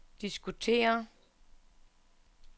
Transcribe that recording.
diskutere